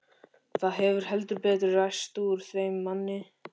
Það hefur heldur betur ræst úr þeim manni!